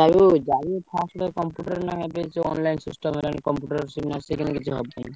ଯାହାବି ହଉ ଯାହାବି ହଉ first ଗୋଟେ computer ନହେଲେ ଏବେ ଯୋଉ online system ହେଲାଣି computer ନ ଶିଖିଲେ କିଛି ହବନି।